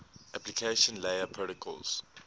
application layer protocols